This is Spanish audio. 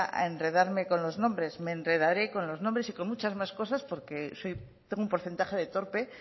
a enredarse con los nombres me enredaré con los nombres y con muchas más cosas porque tengo un porcentaje de torpe